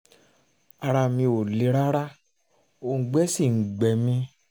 ara mi ò le rárá òùngbẹ sì ń gbẹ mí